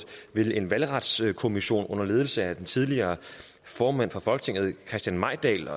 med en valgretskommissionen under ledelse af den tidligere formand for folketinget christian mejdahl